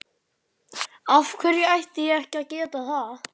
Af hverju ætti ég ekki að geta það?